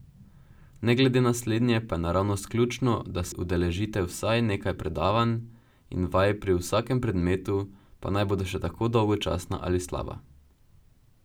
Ne glede na slednje pa je naravnost ključno, da se udeležite vsaj nekaj predavanj in vaj pri vsakem predmetu, pa naj bodo še tako dolgočasna ali slaba.